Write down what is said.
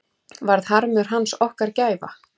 Varð harmur hans okkar gæfa?